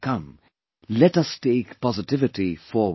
Come, let us take positivity forward